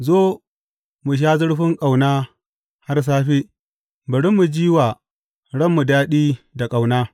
Zo, mu sha zurfin ƙauna har safe; bari mu ji wa ranmu daɗi da ƙauna!